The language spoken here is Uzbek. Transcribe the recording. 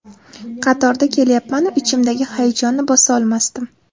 Qatorda kelyapman-u, ichimdagi hayajonni bosa olmasdim.